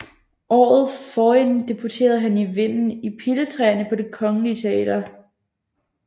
Året forinden debuterede han i Vinden i Piletræerne på Det Kongelige Teater